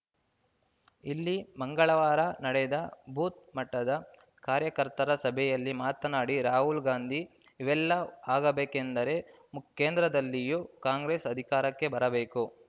ಇಲ್ಲಿ ಮಂಗಳವಾರ ನಡೆದ ಬೂತ್‌ ಮಟ್ಟದ ಕಾರ್ಯಕರ್ತರ ಸಭೆಯಲ್ಲಿ ಮಾತನಾಡಿದ ರಾಹುಲ್‌ ಗಾಂಧಿ ಇವೆಲ್ಲ ಆಗಬೇಕೆಂದರೆ ಮುಖ್ ಕೇಂದ್ರದಲ್ಲಿಯೂ ಕಾಂಗ್ರೆಸ್‌ ಅಧಿಕಾರಕ್ಕೆ ಬರಬೇಕು